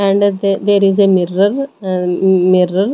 And ther there is a mirror an mm mirror.